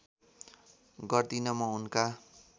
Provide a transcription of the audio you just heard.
गर्दिन म उनका